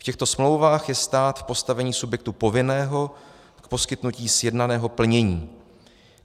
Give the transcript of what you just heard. V těchto smlouvách je stát v postavení subjektu povinného k poskytnutí sjednaného plnění.